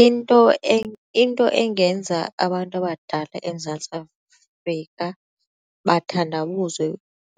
into engenza abantu abadala eMzantsi Afrika bathandabuze